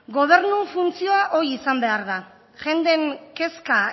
gobernun funtzioa hoi izan behar da jenden kezka